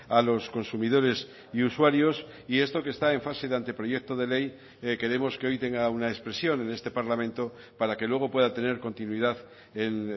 a los consumidores y usuarios y esto que está en fase de anteproyecto de ley queremos que hoy tenga una expresión en este parlamento para que luego pueda tener continuidad en